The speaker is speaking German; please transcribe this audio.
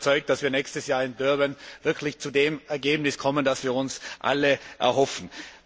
Ich bin überzeugt, dass wir nächstes Jahr in Durban wirklich zu dem Ergebnis kommen, das wir uns alle erhoffen.